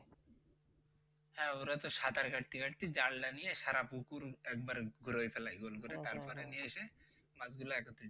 হ্যাঁ ওরা তো সাতার কাটতে কাটতে জালটা নিয়ে সারা পুকুর একবার ঘুরে ফেলে গোল করে তারপরে নিয়ে এসে মাছগুলা একত্রিত